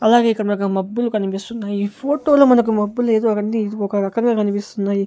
అలాగే ఇక్కడ మాకా మబ్బులు కనిపిస్తున్నాయి ఫోటోలో మనకు మబ్బులేదో అన్నీ ఒక రకంగా కనిపిస్తున్నాయి.